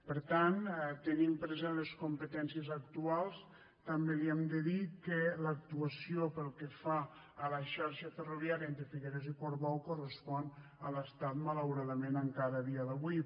per tant tenint present les competències actuals també li hem de dir que l’actuació pel que fa a la xarxa ferroviària entre figueres i portbou correspon a l’estat malauradament encara a dia d’avui